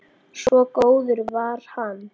Svo góður var hann.